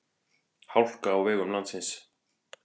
Hálka á vegum landsins